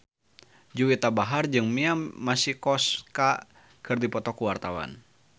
Juwita Bahar jeung Mia Masikowska keur dipoto ku wartawan